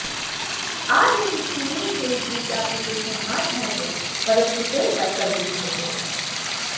આ dating tool Facebook એપ્લીકેશનમાં જ હશે પરંતુ તે વૈકલ્પિક હશે